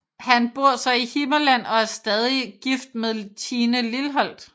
Han bor så i Himmerland og er stadig gift med Tine Lilholt